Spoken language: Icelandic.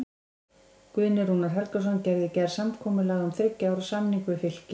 Guðni Rúnar Helgason gerði í gær samkomulag um þriggja ára samning við Fylki.